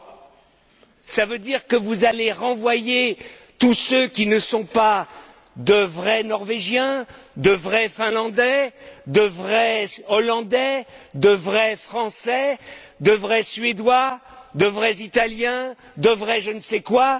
Cela veut il dire que vous allez renvoyer tous ceux qui ne sont pas de vrais Norvégiens, de vrais Finlandais, de vrais Hollandais, de vrais Français, de vrais Suédois, de vrais Italiens, de vrais je ne sais quoi?